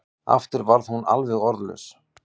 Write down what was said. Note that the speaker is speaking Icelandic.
Aftur varð hún alveg orðlaus.